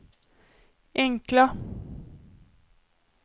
enkla